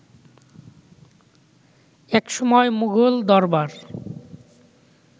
একসময় মুঘল দরবার